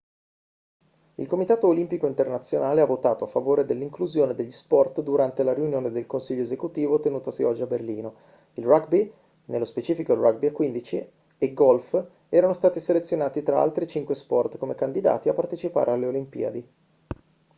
il comitato olimpico internazionale ha votato a favore dell'inclusione degli sport durante la riunione del consiglio esecutivo tenutasi oggi a berlino il rugby nello specifico il rugby a 15 e il golf erano stati selezionati tra altri cinque sport come candidati a partecipare alle olimpiadi